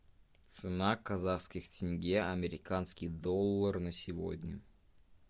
цена казахских тенге американский доллар на сегодня